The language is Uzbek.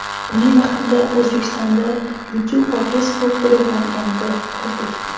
Buni yaqinda O‘zbekistonda YouTube va Facebook bloklanganda ko‘rdik.